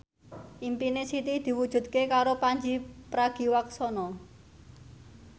impine Siti diwujudke karo Pandji Pragiwaksono